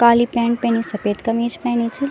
काली pant पैनी सपेद कमीज पैनी च।